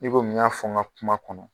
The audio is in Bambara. I komi n y'a fɔ n ka kuma kɔnɔ.